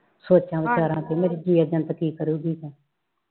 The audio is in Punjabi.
ਸੋਚਾਂ ਵਿਚਾਰਾ ਬਈ ਮੇਰੀ ਕੀ ਕਰੂੰਗੀ